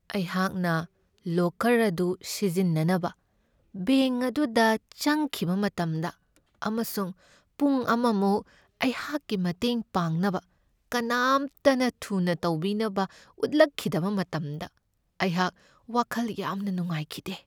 ꯑꯩꯍꯥꯛꯅ ꯂꯣꯀꯔ ꯑꯗꯨ ꯁꯤꯖꯤꯟꯅꯅꯕ ꯕꯦꯡꯛ ꯑꯗꯨꯗ ꯆꯪꯈꯤꯕ ꯃꯇꯝꯗ ꯑꯃꯁꯨꯡ ꯄꯨꯡ ꯑꯃꯃꯨꯛ ꯑꯩꯍꯥꯛꯀꯤ ꯃꯇꯦꯡ ꯄꯥꯡꯅꯕ ꯀꯅꯥꯝꯇꯅ ꯊꯨꯅ ꯇꯧꯕꯤꯅꯕ ꯎꯠꯂꯛꯈꯤꯗꯕ ꯃꯇꯝꯗ ꯑꯩꯍꯥꯛ ꯋꯥꯈꯜ ꯌꯥꯝꯅ ꯅꯨꯡꯉꯥꯏꯈꯤꯗꯦ ꯫